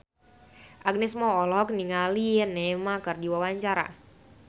Agnes Mo olohok ningali Neymar keur diwawancara